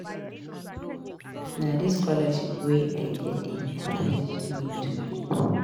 Na dis scholarship wey I get dey encourage me to read.